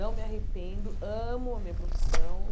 Não me arrependo, amo a minha profissão.